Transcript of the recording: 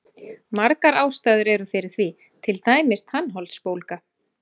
Margar ástæður eru fyrir því, til dæmis tannholdsbólga.